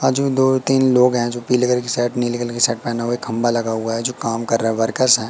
बाजू में दो-तीन लोग है जो पीले कलर की सेट नीले कलर की सेट पहने हुए खंभा लगा हुआ जो काम कर रहा है वर्कर्स है।